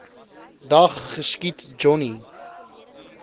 dag geskiet johnny